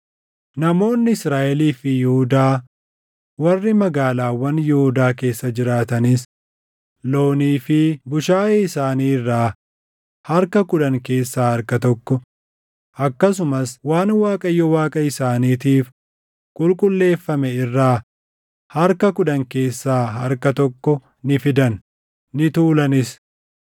Namoonni Israaʼelii fi Yihuudaa warri magaalaawwan Yihuudaa keessa jiraatanis loonii fi bushaayee isaanii irraa harka kudhan keessaa harka tokko, akkasumas waan Waaqayyo Waaqa isaaniitiif qulqulleeffame irraa harka kudhan keessaa harka tokko ni fidan; ni tuulanis.